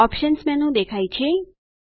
options menu દેખાય છે